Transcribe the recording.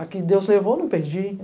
A que Deus levou, não perdi.